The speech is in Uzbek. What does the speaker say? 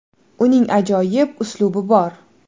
Uning ajoyib uslubi bor.